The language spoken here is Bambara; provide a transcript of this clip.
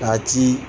K'a ci